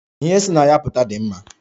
Ihe si na ya pụta dị mma.